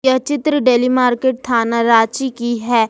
यह चित्र daily market थाना रांची की है।